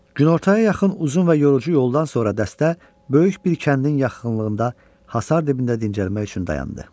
Günortaya yaxın uzun və yorucu yoldan sonra dəstə böyük bir kəndin yaxınlığında hasar dibində dincəlmək üçün dayandı.